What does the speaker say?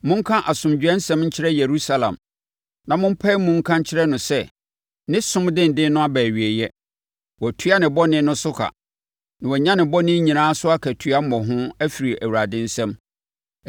Monka asomdwoesɛm nkyerɛ Yerusalem, na mompae mu nka nkyerɛ no sɛ ne som denden no aba awieeɛ, wɔatua ne bɔne no so ka, na wɔanya ne bɔne nyinaa so akatua mmɔho afiri Awurade nsam.